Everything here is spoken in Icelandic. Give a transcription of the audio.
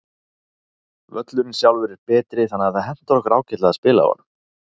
Völlurinn sjálfur er betri þannig að það hentar okkur ágætlega að spila á honum.